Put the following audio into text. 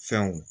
Fɛnw